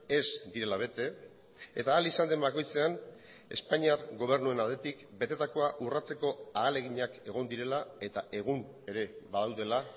ez direla bete eta ahal izan den bakoitzean espainiar gobernuen aldetik betetakoa urratzeko ahaleginak egon direla eta egun ere badaudela